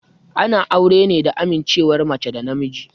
Ana aure ne da amincewar mace da namiji.